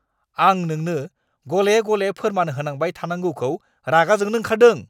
आं नोंनो गले गले फोरमान होनांबाय थानांगौखौ रागा जोंनो ओंखारदों।